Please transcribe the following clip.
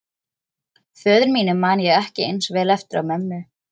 Föður mínum man ég ekki eins vel eftir og mömmu.